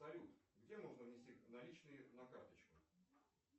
салют где можно внести наличные на карточку